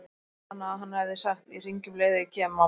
Minnti hana að hann hefði sagt: Ég hringi um leið og ég kem, mamma.